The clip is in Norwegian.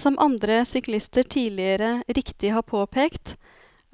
Som andre syklister tidligere riktig har påpekt,